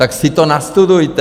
Tak si to nastudujte!